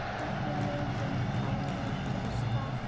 Ekki leiðum að líkjast þar.